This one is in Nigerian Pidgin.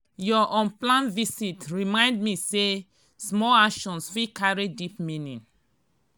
your unplanned visit remind me say small actions fit carry deep meaning.